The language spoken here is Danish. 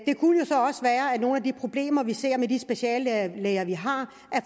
nogle af de problemer vi ser med de speciallæger vi har